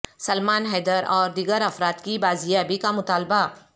سلمان حیدر اور دیگر افراد کی بازیابی کا مطالبہ